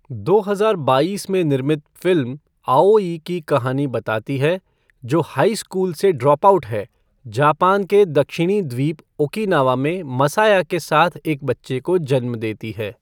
दो हज़ार बाइस में निर्मित फ़िल्म आओई की कहानी बताती है, जो हाई स्कूल से ड्रॉपआउट है, जापान के दक्षिणी द्वीप ओकिनावा में मसाया के साथ एक बच्चे को जन्म देती है।